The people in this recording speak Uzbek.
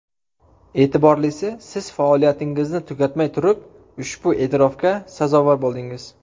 E’tiborlisi, siz faoliyatingizni tugatmay turib ushbu e’tirofga sazovor bo‘ldingiz.